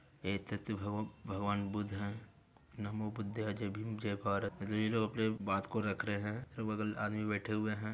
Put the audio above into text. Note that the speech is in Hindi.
एतत भवो भगवान बुध है | नम्हो बुध जय भीम जय भारत जे ये लोग अपने बात को रख रहे है | अगल बगल आदमी बैठे हुए है।